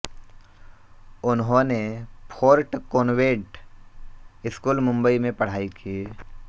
उन्होंने fort convent school Mumbai में पढ़ाई की